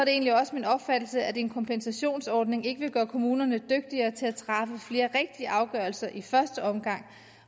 egentlig også min opfattelse at en kompensationsordning ikke vil gøre kommunerne dygtigere til at træffe flere rigtige afgørelser i første omgang